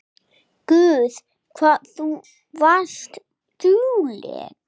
Guð hvað þú varst dugleg.